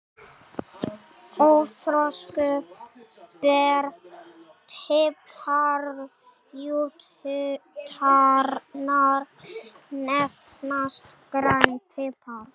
Óþroskuð ber piparjurtarinnar nefnast grænn pipar.